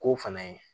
K'o fana ye